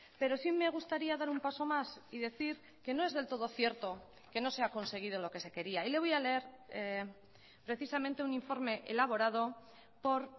pero sí me gustaría dar un paso más y decir que no es del todo cierto que no se ha conseguido lo que se quería y le voy a leer precisamente un informe elaborado por